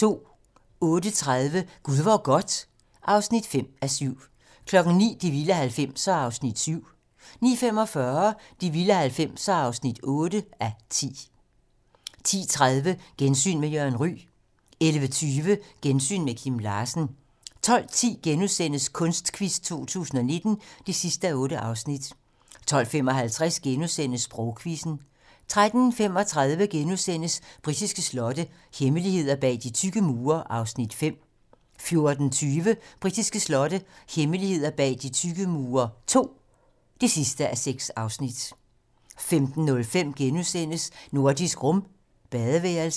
08:30: Gud hvor godt (5:7) 09:00: De vilde 90'ere (7:10) 09:45: De vilde 90'ere (8:10) 10:30: Gensyn med Jørgen Ryg 11:20: Gensyn med Kim Larsen 12:10: Kunstquiz 2019 (8:8)* 12:55: Sprogquizzen * 13:35: Britiske slotte - hemmeligheder bag de tykke mure (5:6)* 14:20: Britiske slotte - hemmeligheder bag de tykke mure II (6:6) 15:05: Nordisk Rum - badeværelset *